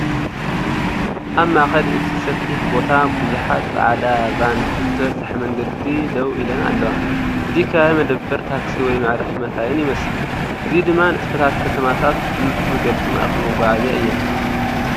ኣብ ማእከል እቲ ሰፊሕ ቦታ ብዙሓት ጻዕዳ ቫን ብተበጻሒ መንገዲ ደው ኢለን ኣለዋ። እዚ ከባቢ መደበር ታክሲ ወይ መዕረፊ መካይን ይመስል። እዚ ድማ ንጥፈታት ከተማታት ብንጹር ዝገልጽ ማእከል መጓዓዝያ እየን።